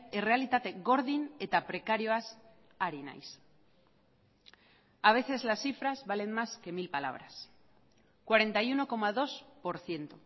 errealitate gordin eta prekarioaz ari naiz a veces las cifras valen más que mil palabras cuarenta y uno coma dos por ciento